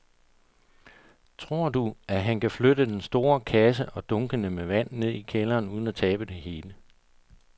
Tror du, at han kan flytte den store kasse og dunkene med vand ned i kælderen uden at tabe det hele?